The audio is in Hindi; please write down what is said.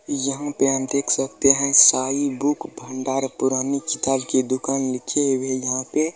यहाँ पे हम देख है साईं बुक भंडार पुरानी किताब की दुकान लिखी हुए है यहाँ पे --